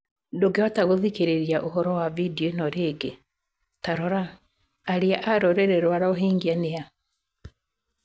Ndũngĩhota gũthikĩrĩria ũhoro wa video ĩno rĩngĩ, Ta rora: Arĩa a rũrĩrĩ rwa Rohingya nĩ a?